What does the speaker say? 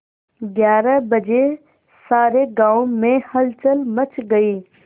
ग्यारह बजे सारे गाँव में हलचल मच गई